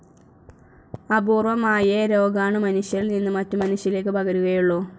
അപൂർവ്വമായേ രോഗാണു മനുഷ്യരിൽ നിന്ന് മറ്റ് മനുഷ്യരിലേക്ക് പകരുകയുള്ളു.